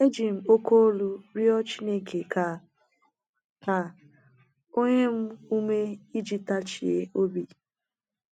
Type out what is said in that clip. Eji m oke olu rịọ Chineke ka ka o nye m ume iji tachie obi.